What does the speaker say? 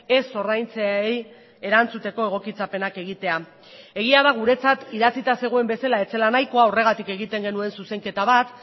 ez ordaintzeei erantzuteko egokitzapenak egitea egia da guretzat idatzita zegoen bezala ez zela nahikoa horregatik egiten genuen zuzenketa bat